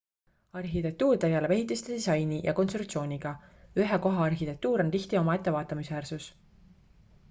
arhitektuur tegeleb ehitiste disaini ja konstruktsiooniga ühe koha arhitektuur on tihti omaette vaatamisväärsus